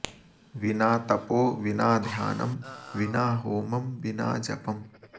विना तपो विना ध्यानं विना होमं विना जपम्